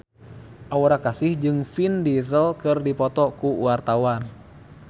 Aura Kasih jeung Vin Diesel keur dipoto ku wartawan